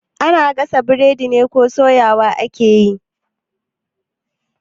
Ana gasa burodi ne ko soyawa ake yi?